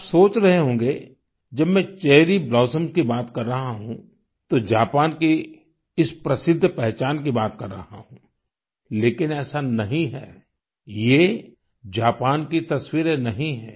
आप सोच रहे होंगे जब मैं चेरी ब्लॉसम्स की बात कर रहा हूँ तो जापान की इस प्रसिद्ध पहचान की बात कर रहा हूँ लेकिन ऐसा नहीं है ये जापान की तस्वीरें नहीं हैं